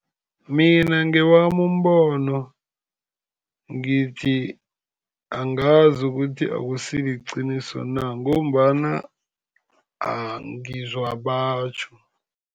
Mina ngewami umbono ngithi angazi ukuthi akusi liqiniso na, ngombana ngizwa batjho.